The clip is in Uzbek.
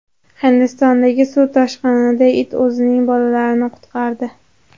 Hindistondagi suv toshqinida it o‘zining bolalarini qutqardi .